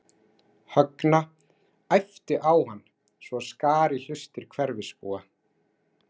Högna, æpti á hann svo að skar í hlustir hverfisbúa.